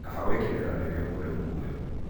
Kaba gũikenera rĩrĩa mũndũ e muoyo